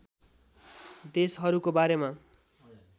देशहरूको बारेमा